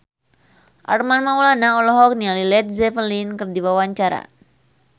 Armand Maulana olohok ningali Led Zeppelin keur diwawancara